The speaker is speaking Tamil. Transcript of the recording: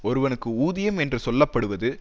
ஒருவனுக்கு ஊதியம் என்று சொல்ல படுவது